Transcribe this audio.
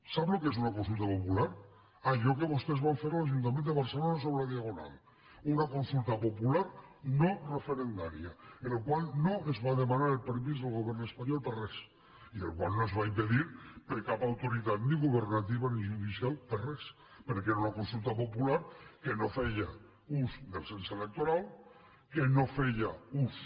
sap el que és una consulta popular allò que vostès van fer a l’ajuntament de barcelona sobre la diagonal una consulta popular no referendària en la qual no es va demanar el permís del govern espanyol per a res i la qual no es va impedir per cap autoritat ni governativa ni judicial per a res perquè era una consulta popular que no feia ús del cens electoral que no feia ús